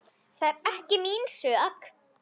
Það er ekki mín sök.